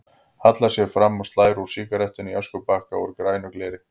Hallar sér fram og slær úr sígarettunni í öskubakka úr grænu gleri.